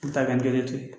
N ta kɛ n kelen ten